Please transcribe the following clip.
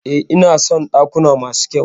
E, ina son dakuna masu kyau.